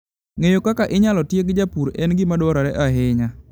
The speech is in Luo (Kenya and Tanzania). Ng'eyo kaka inyalo tieg jopur en gima dwarore ahinya.